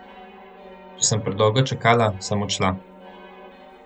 Če sem predolgo čakala, sem odšla.